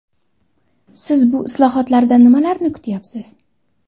Siz bu islohotlardan nimalarni kutyapsiz?